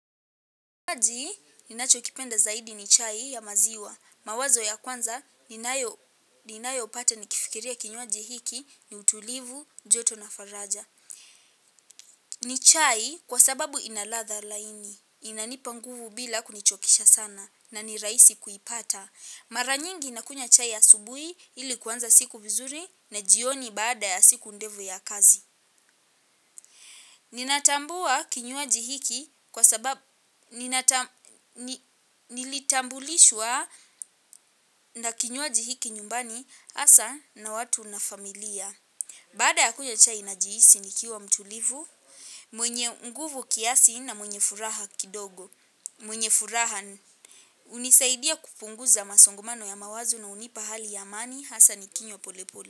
Kinywaji ninachokipenda zaidi ni chai ya maziwa. Mawazo ya kwanza ninayopata nikifikiria kinywaji hiki ni utulivu, joto na faraja. Ni chai kwa sababu ina ladha laini. Inanipa nguvu bila kunichokesha sana na ni rahisi kuipata. Mara nyingi nakunywa chai asubuhi ili kuanza siku vizuri na jioni baada ya siku ndefu ya kazi. Ninatambua kinywaji hiki kwa sababu nilitambulishwa na kinywaji hiki nyumbani hasaa na watu na familia. Baada ya kunywa chai najihisi nikiwa mtulivu, mwenye nguvu kiasi na mwenye furaha kidogo. Mwenye furaha hunisaidia kupunguza masongomano ya mawazo na hunipa hali ya amani hasaa nikinywa polepole.